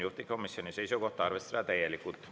Juhtivkomisjoni seisukoht on arvestada seda täielikult.